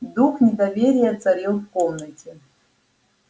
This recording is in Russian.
дух недоверия царил в комнате